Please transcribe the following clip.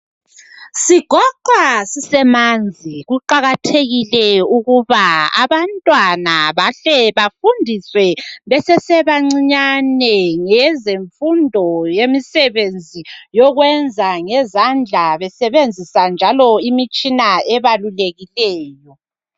Sigoqwa sisemanzi kuqakathekile ukuba abantwana bahle bafundiswe besesebancinyane ngezemfundo yemisebenzi yokwenza ngezandla besebenzisa imitshina ebalulekileyo.